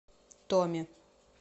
томе